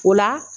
O la